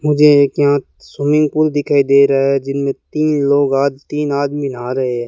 मुझे एक यहां स्विमिंग पूल दिखाई दे रहा है जीनमें तीन लोग आ तीन आदमी नहा रहे हैं।